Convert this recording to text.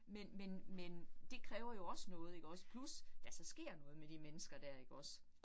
Men men men det kræver jo også noget ikke også plus der så sker noget med de mennesker dér ikke også